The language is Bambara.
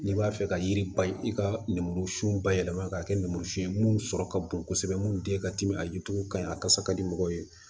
N'i b'a fɛ ka yiri bay i ka lemuru siw bayɛlɛma k'a kɛ nɛnmurusi ye minnu sɔrɔ ka bon kosɛbɛ mun te katim a yirituru ka ɲi a kasa ka di mɔgɔw ye